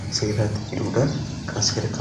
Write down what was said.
ta'an kan agarsiisuudha.